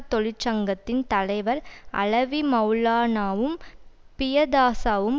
தொழிற்சங்கத்தின் தலைவர் அலவி மெளலானாவும் பியதாசவும்